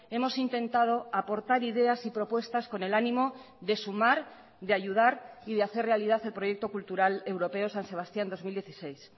hemos intentado aportar ideas y propuestas con el ánimo de sumar de ayudar y de hacer realidad el proyecto cultural europeo san sebastián dos mil dieciséis